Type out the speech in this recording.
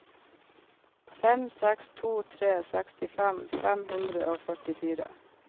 fem seks to tre sekstifem fem hundre og førtifire